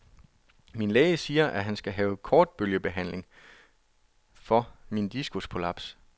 Min læge siger, at han skal have kortbølgebehandling for min diskusprolaps.